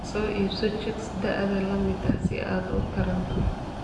Soo iibso chicks da'da la mid ah si aad u tarranto.